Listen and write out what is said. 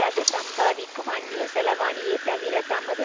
அது சம்பாதிக்கும் அந்நிய செலாவணியே தவிர தமது